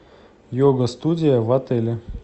йога студия в отеле